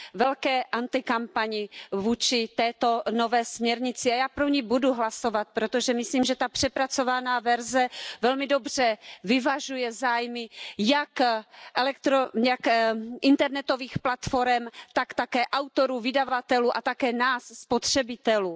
velké kampani vůči této nové směrnici, a já pro ni budu hlasovat, protože myslím, že ta přepracovaná verze velmi dobře vyvažuje zájmy jak internetových platforem, tak také autorů, vydavatelů a také nás, spotřebitelů.